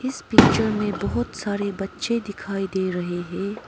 इस पिक्चर में बहुत सारे बच्चे दिखाई दे रहे हैं।